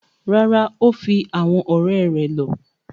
Rárá, o fi awọn ọrẹ rẹ lọ